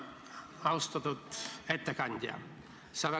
Austatud ettekandja!